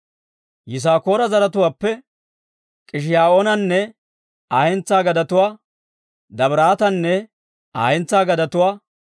Yisaakoora zaratuwaappe K'ishiyoonanne Aa hentsaa gadetuwaa, Dabiraatanne Aa hentsaa gadetuwaa,